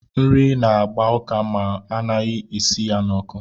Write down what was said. Nri na-agba ụká mgbe ana-esighị ya n'ọkụ.